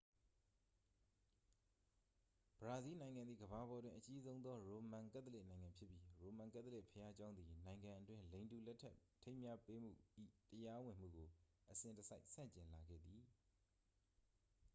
ဘရာဇီးနိုင်ငံသည် ကမ္ဘာပေါ်တွင် အကြီးဆုံးသော ရိုမန်ကက်သလစ်နိုင်ငံဖြစ်ပြီး ရိုမန်ကက်သလစ်ဘုရားကျောင်းသည် နိုင်ငံအတွင်း လိင်တူလက်ထပ်ထိမ်းမြှားမှု၏ တရားဝင်မှုကို အစဉ်တစိုက် ဆန့်ကျင်လာခဲ့သည်